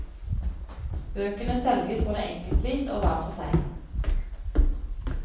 Bøkene selges både enkeltvis og hver for seg.